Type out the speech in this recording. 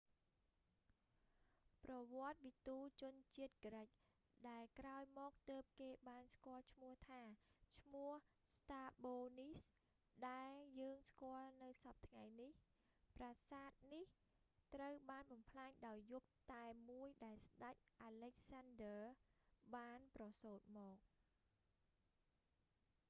ប្រវត្តិវិទូជនជាតិក្រិក ដែលក្រោយមកទើបគេបានស្គាល់ឈ្មោះថា ឈ្មោះស្រ្តាបូ strabo នេះ ដែលយើងស្គាល់នៅសព្វថ្ងៃនេះ ប្រាសាទនេះត្រូវបានបំផ្លាញនៅយប់តែមួយដែលស្តេច អាឡិចសានឌើ alexander the great បានប្រសូត្រមក